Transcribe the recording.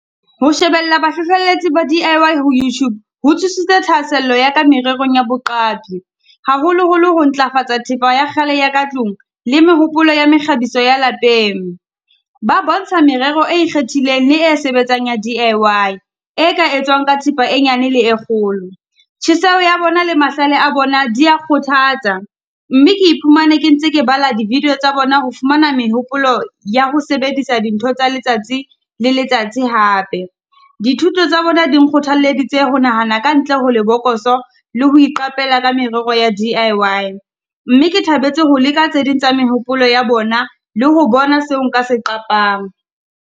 Ho shebella bahlohlelletsi ba D_I_Y ho Youtube, ho tsusitse thahasello ya ka mererong ya boqapi. Haholoholo ho ntlafatsa thepa ya kgale ya ka tlung, le mehopolo ya mekgabiso ya lapeng. Ba bontsha merero e ikgethileng le e sebetsang ya D_I_Y, e ka etswang ka thipa e nyane le e kgolo. Tjheseho ya bona le mahlale a bona di ya kgothatsa, mme ke iphumane ke ntse ke bala di-video tsa bona ho fumana mehopolo ya ho sebedisa dintho tsa letsatsi le letsatsi hape. Dithuto tsa bona di nkgothaleditse ho nahana ka ntle ho lebokoso le ho iqapela ka merero ya D_I_Y. Mme ke thabetse ho leka tse ding tsa mehopolo ya bona, le ho bona seo nka se qapang.